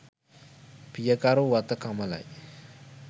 පියකරු වත කමලයි.